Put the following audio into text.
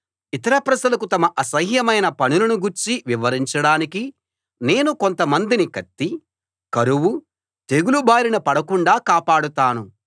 ఇతర ప్రజలకు తమ అసహ్యమైన పనులను గూర్చి వివరించడానికి నేను కొంతమందిని కత్తీ కరువూ తెగులు బారిన పడకుండా కాపాడతాను